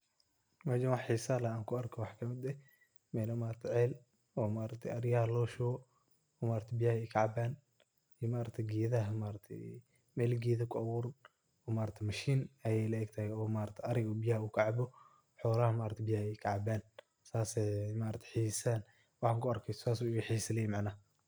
Meshan waxa xiisa leh an kuarko waxa kamid eh, mela ceel oo eriyaha lagashubo, biyaha ay kacaban ,meel gedo ku abuuran mashin ay le egtahay erego biyaha ay kacabo, xolaha biyaha ay kacaban waxan kuarka saas ayu ixisaley macna.